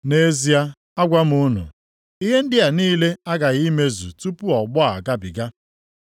Nʼezie agwa m unu, ihe ndị a niile aghaghị imezu tupu ọgbọ a agabiga.